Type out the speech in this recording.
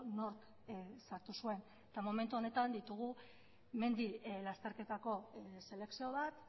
nork sartu zuen eta momentu honetan ditugu mendi lasterketako selekzio bat